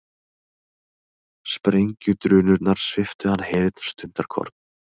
Sprengjudrunurnar sviptu hann heyrn stundarkorn.